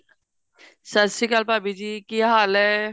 ਸਤਿ ਸ਼੍ਰੀ ਅਕਾਲ ਭਾਭੀ ਜੀ ਕਿ ਹਾਲ ਹੈ